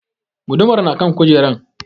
Gudumar na kan kujeran